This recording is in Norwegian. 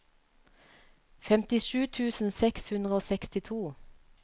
femtisju tusen seks hundre og sekstito